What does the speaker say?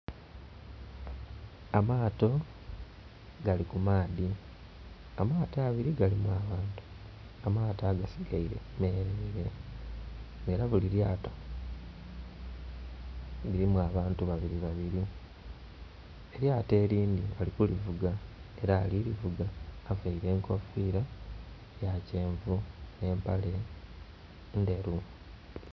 Amaato gali ku maadhi. Amaato abili galimu abantu, amaato agasigaile meleele era buli lyato lilimu abantu babiri babiri, elyato elindhi bali kulivuga ela ali kulivuga availe enkofiira ya kyenvu nhe mpale endheru.